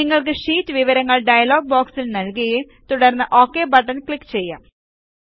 നിങ്ങൾക്ക് ഷീറ്റ് വിവരങ്ങൾ ഡയലോഗ് ബോക്സിൽ നൽകുകയും തുടർന്ന് ഒക് ബട്ടൺ ക്ലിക്ക് ചെയ്യാം